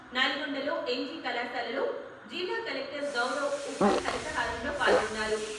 నల్గొండలో ఎన్జీ కళాశాలలో జిల్లా కలెక్టర్ గౌరవ్ ఉప్పల్ హరితహారంలో పాల్గొన్నారు.